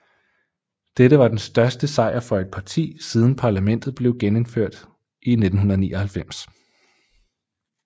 Dette var den største sejr for et parti siden parlamentet blev genindført i 1999